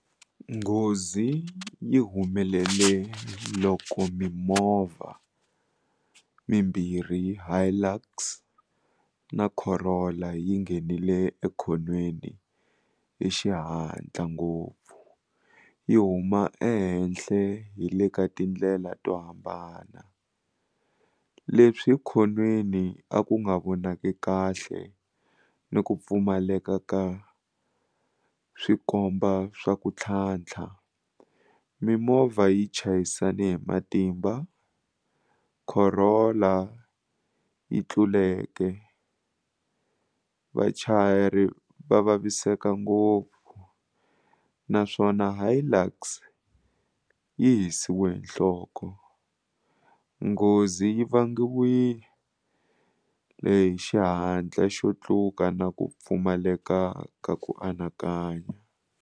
Nghozi yi humelele loko mimovha mimbirhi Hilux na Corolla yi nghenile ekhonweni hi xihatla ngopfu yi huma ehenhle hi le ka tindlela to hambana leswi khonweni a ku nga vonaki kahle ni ku pfumaleka ka swikomba swa ku tlhantlha mimovha yi chayisane hi matimba Corolla yi tluleke vachayeri va vaviseka ngopfu naswona Hilux yi hisiwe hi nhloko nghozi yi vangiwile hi xihatla xo tluka na ku pfumaleka ka ku anakanya.